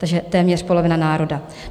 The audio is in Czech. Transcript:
Takže téměř polovina národa.